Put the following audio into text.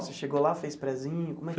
Você chegou lá, fez prezinho?